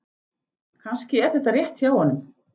Kannski er þetta rétt hjá honum.